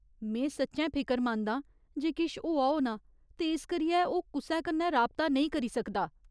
में सच्चैं फिकरमंद आं जे किश होआ होना ते इस करियै ओह् कुसै कन्नै राबता नेईं करी सकदा।